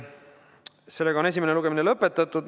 Sellega on esimene lugemine lõpetatud.